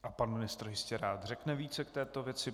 A pan ministr jistě rád řekne více k této věci.